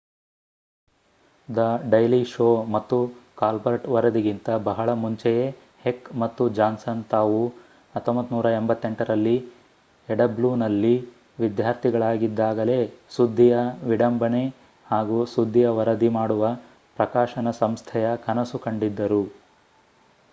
the daily show ಮತ್ತು Colbert ವರದಿಗಿಂತ ಬಹಳ ಮುಂಚೆಯೇ ಹೆಕ್ ಮತ್ತು ಜಾನ್ಸನ್ ತಾವು 1988ರಲ್ಲಿ ಯುಡಬ್ಲೂನಲ್ಲಿ ವಿದ್ಯಾರ್ಥಿಗಳಾಗಿದ್ದಾಗಲೇ ಸುದ್ಧಿಯ ವಿಡಂಬನೆ ಹಾಗೂ ಸುದ್ದಿಯ ವರದಿ ಮಾಡುವ ಪ್ರಕಾಶನ ಸಂಸ್ಥೆಯ ಕನಸು ಕಂಡಿದ್ದರು